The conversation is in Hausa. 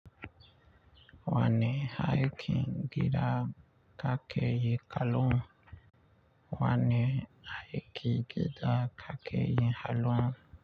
Wanne aikin gida kake yi kullum? Aikin gida ka ke yi kullum?